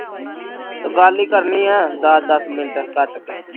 ਗੱਲ ਹੀ ਕਰਨੀ ਦੱਸ ਦੱਸ ਮਿੰਟ ਕੱਟ ਕੇ